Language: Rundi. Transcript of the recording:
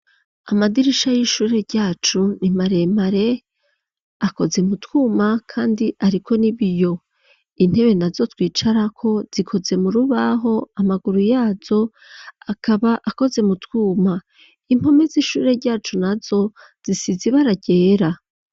Amadirisha y'ishure ryacu nimaremare akoze mu twuma kandi ariko n'ibiyo intebe na zo twicarako zikoze mu rubaho amaguru yazo akaba akoze mu twuma, impome z'ishure ryacu nazo zisize ibara ryera.